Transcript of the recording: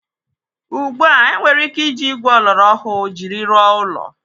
Ugbu a, enwere ike iji igwe oloro ọhụụ jiri rụọ ụlọ.